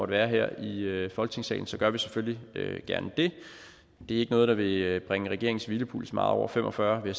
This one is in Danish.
være her i i folketingssalen så gør vi selvfølgelig gerne det det er ikke noget der vil bringe regeringens hvilepuls meget over fem og fyrre vil